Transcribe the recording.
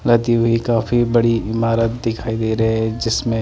लाती हुई काफी बड़ी ईमारत दिखाई दे रहे है जिसमें--